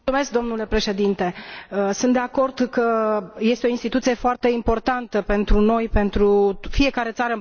Sunt de acord că este o instituție foarte importantă pentru noi, pentru fiecare țară în parte și pentru Uniunea Europeană.